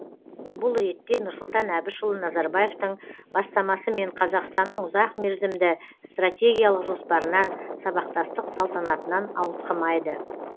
бұл ретте нұрсұлтан әбішұлы назарбаевтың бастамасымен қазақстанның ұзақ мерзімді стратегиялық жоспарынан сабақтастық салтанатынан ауытқымайды